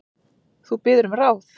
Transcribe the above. Þú biður um ráð.